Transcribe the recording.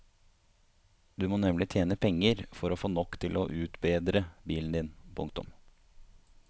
Du må nemlig tjene penger for å få nok til å utbedre bilen din. punktum